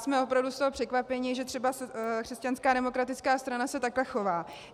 Jsme opravdu z toho překvapeni, že třeba křesťanská demokratická strana se takhle chová.